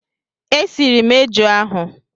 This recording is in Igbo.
E siri m eju ahụ.